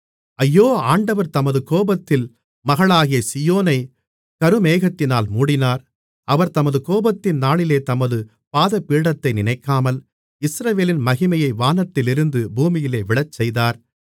ஐயோ ஆண்டவர் தமது கோபத்தில் மகளாகிய சீயோனை கரும்மேகத்தினால் மூடினார் அவர் தமது கோபத்தின் நாளிலே தமது பாதபீடத்தை நினைக்காமல் இஸ்ரவேலின் மகிமையை வானத்திலிருந்து பூமியிலே விழச்செய்தார்